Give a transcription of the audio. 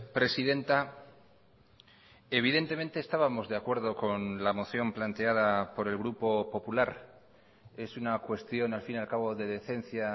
presidenta evidentemente estábamos de acuerdo con la moción planteada por el grupo popular es una cuestión al fin y al cabo de decencia